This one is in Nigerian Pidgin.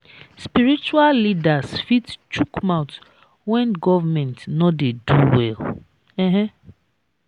spiritual leaders fit chook mouth when governemnt no dey do well um